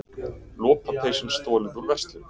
Lopapeysum stolið úr verslun